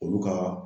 Olu ka